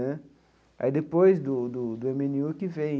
Né aí depois do do eme enê u que vem